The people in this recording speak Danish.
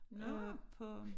Øh på